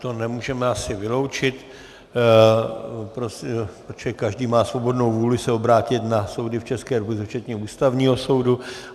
To nemůžeme asi vyloučit, protože každý má svobodnou vůli se obrátit na soudy v České republice včetně Ústavního soudu.